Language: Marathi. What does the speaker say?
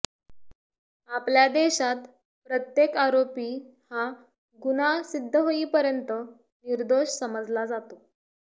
आपल्या देशात प्रत्येक आरोपी हा गुन्हा सिद्ध होईपर्यंत निर्दोष समजला जातो